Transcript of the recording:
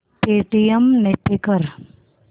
Paytm ने pay कर